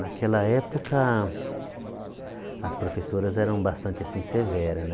Naquela época, as professoras eram bastante assim severa né.